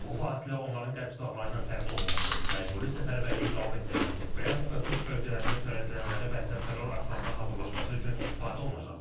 Bu fasilə onların qərb silahları ilə təmin olunması, məcburi səfərbərliyi davam etdirməsi, Bryansk və Kursk bölgələrində törədilənlərə bənzər terror aktlarına hazırlaşması üçün istifadə olunacaq.